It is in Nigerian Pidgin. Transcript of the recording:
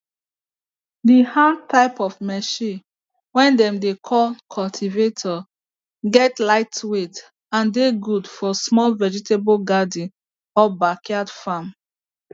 the hand type of machine way dem dey call cultivator get lightweight and dey good for small vegetable garden or back yard farm